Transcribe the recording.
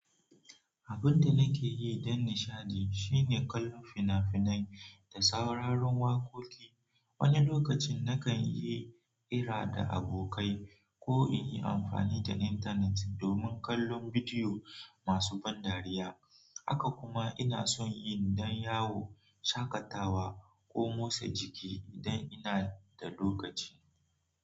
Abun da nake yi don nishaɗi shine kallon fina-finai da sauraron waƙoƙi. Wani lokacin nakan yi ira da abokai ko in yi amfani da internet domin kallon bidiyo masu ban dariya. Haka kuma ina son yin dan yawo, shakatawa ko motsa jiki idan ina da lokaci.